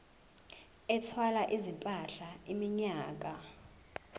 ethwala izimpahla iminyaka